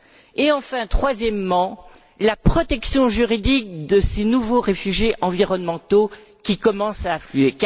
et, enfin, troisièmement, la protection juridique de ces nouveaux réfugiés environnementaux qui commencent à affluer.